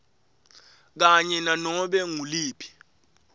kanye nanobe nguliphi